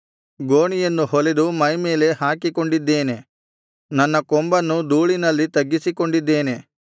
ಗೋಣಿಯನ್ನು ಹೊಲೆದು ಮೈಮೇಲೆ ಹಾಕಿಕೊಂಡಿದ್ದೇನೆ ನನ್ನ ಕೊಂಬನ್ನು ಧೂಳಿನಲ್ಲಿ ತಗ್ಗಿಸಿಕೊಂಡಿದ್ದೇನೆ